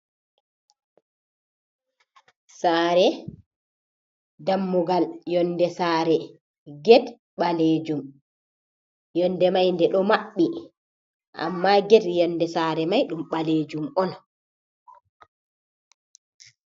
Saare dammugal yonde sare, get ɓaleejum. Yonde mai nde ɗo maɓɓi. Amma get yonde sare mai ɗum ɓaleejum on.